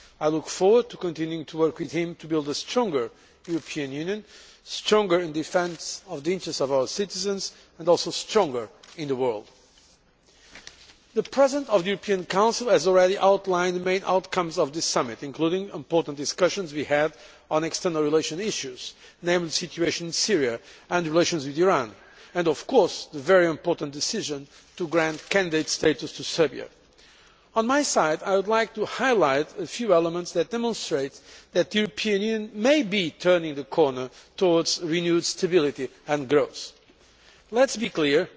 I look forward to continuing to work with him to build a stronger European Union stronger in defence of the interests of our citizens and also stronger in the world. The President of the European Council has already outlined the main outcomes of this Summit, including the important discussions we had on external relations issues namely the situation in Syria and relations with Iran and of course the very important decision to grant candidate status to Serbia. On my side I would like to highlight a few elements that demonstrate that the European Union may be turning the corner towards renewed stability and growth. Let us be clear